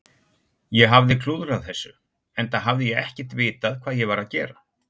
Ég hafði klúðrað þessu, enda hafði ég ekkert vitað hvað ég var að gera.